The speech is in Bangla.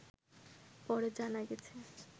পরে জানা গেছে